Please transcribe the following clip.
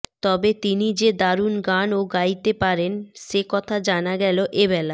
তবে তিনি যে দারুণ গান ও গাইতে পারেন সে কথা জানা গেল এবেলা